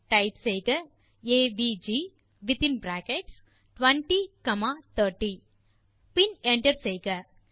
type செய்க AVG வித்தின் bracket 20 comma 30 பின் என்டர் செய்க